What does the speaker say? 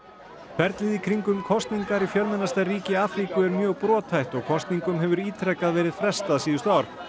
ferlið í kringum kosningar í fjölmennasta ríki Afríku er mjög brothætt og kosningum hefur ítrekað verið frestað síðustu ár